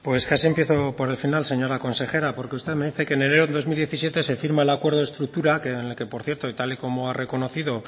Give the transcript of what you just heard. pues casi empiezo por el final señora consejera porque usted me dice que en enero de dos mil diecisiete se firma el acuerdo de estructura en el que por cierto y tal y como ha reconocido